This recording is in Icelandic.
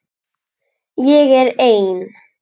Ég er ein.